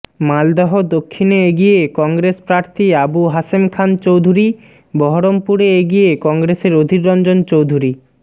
মালদহ দক্ষিণে এগিয়ে কংগ্রেস প্রার্থী আবু হাসেম খান চৌধুরী বহরমপুরে এগিয়ে কংগ্রেসের অধীররঞ্জন চৌধুরী